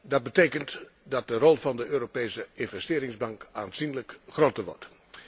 Dat betekent dat de rol van de Europese Investeringsbank aanzienlijk groter wordt.